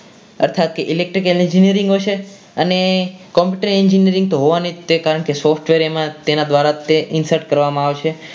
અર્થાકી Electric Engineering હશે અને Computer Engineering તો હોવાનું જ છે કારણ કે software તેના એના દ્વારા insert કરવામાં આવશે.